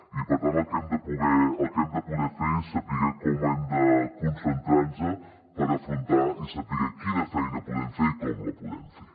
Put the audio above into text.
i per tant el que hem de poder fer és saber com hem de concentrar nos per afrontar i saber quina feina podem fer i com la podem fer